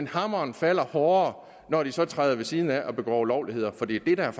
hammeren falder hårdere når de så træder ved siden af og begår ulovligheder for det er